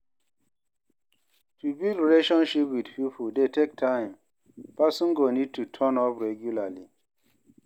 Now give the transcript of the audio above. To build relationship with pipo dey take time, person go need to turn up regularly